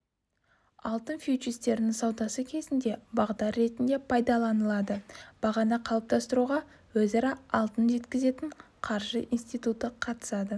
алтын фьючерстерінің саудасы кезінде бағдар ретінде пайдаланылады бағаны қалыптастыруға өзара алтын жеткізетін қаржы институты қатысады